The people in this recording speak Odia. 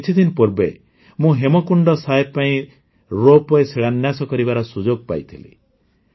ଏହି କିଛିଦିନ ପୂର୍ବେ ମୁଁ ହେମକୁଣ୍ଡ ସାହେବ ପାଇଁ ରୋପ ୱେ ଶିଳାନ୍ୟାସ କରିବାର ସୁଯୋଗ ପାଇଥିଲି